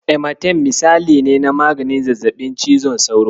Amatem misali ne na maganin zazzaɓin cizon sauro.